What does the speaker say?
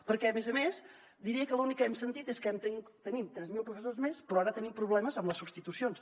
perquè a més a més diré que l’únic que hem sentit és que tenim tres mil professors més però ara tenim problemes amb les substitucions